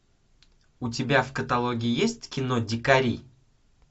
у тебя в каталоге есть кино дикари